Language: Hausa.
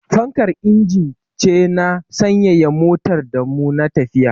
Fankar injin ce na sanyaya motar da mu na tafiya